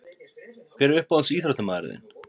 Hver er uppáhalds ÍÞRÓTTAMAÐURINN þinn?